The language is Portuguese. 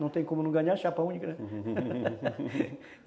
Não tem como não ganhar a chapa única, né?